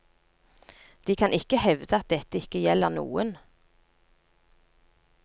De kan ikke hevde at dette ikke gjelder noen.